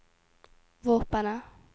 våpenet